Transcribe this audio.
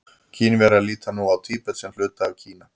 Kínverjar líta nú á Tíbet sem hluta af Kína.